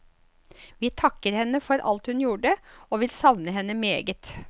Vi takker henne for alt hun gjorde, og vil savne henne meget.